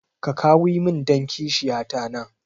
Ka kawi min dan kishiya ta nan